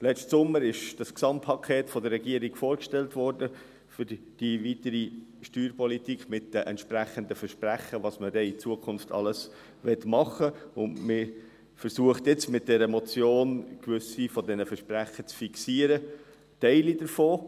Letzten Sommer wurde das Gesamtpaket für die weitere Steuerpolitik von der Regierung vorgestellt, mit den entsprechenden Versprechen, was man dann in Zukunft alles machen will, und man versucht jetzt mit dieser Motion, gewisse dieser Versprechen zu fixieren – Teile davon.